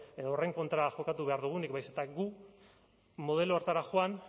edo horren kontra jokatu behar dugunik baizik eta gu modelo horretara joan